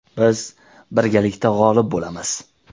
Biz birgalikda g‘olib bo‘lamiz.